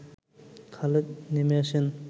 খালেদ নেমে আসেন